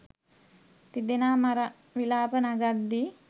තිදෙනා මර විළාප නඟද්දී